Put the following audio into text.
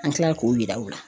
An kilala k'o yira u la.